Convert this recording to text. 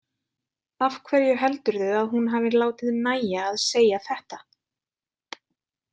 Af hverju heldurðu að hún hafi látið nægja að segja þetta?